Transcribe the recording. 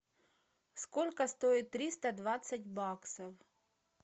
сколько стоит триста двадцать баксов